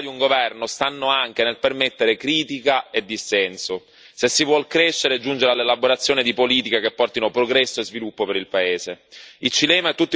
La forza e la qualità di un governo stanno anche nel permettere critica e dissenso, se si vuole crescere e giungere all'elaborazione di politiche che portino progresso e sviluppo per il paese.